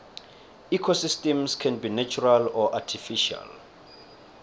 ecosystems can be natural or artificial